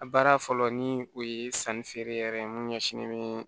A baara fɔlɔ ni o ye sanni feere yɛrɛ ye mun ɲɛsinnen bɛ